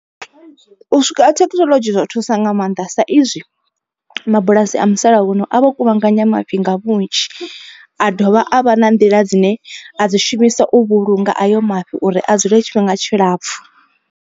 U swika ha thekhinolodzhi zwo thusa nga maanḓa sa izwi mabulasi a musalauno a vha kuvhanganya mafhi nga vhunzhi. A dovha a vha na nḓila dzine a dzi shumisa u vhulunga ayo mafhi uri a dzule tshifhinga tshilapfhu.